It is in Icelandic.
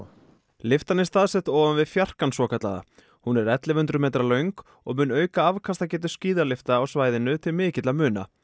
lyftan er staðsett ofan við fjarkann svokallaða hún er ellefu hundruð metra löng og mun auka afkastagetu skíðalyfta á svæðinu til mikilla muna